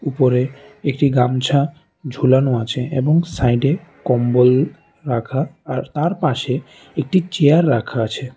উপরে একটি গামছা ঝুলানো আছে এবং সাইডে কম্বল রাখা আর তারপাশে একটি চেয়ার রাখা আছে।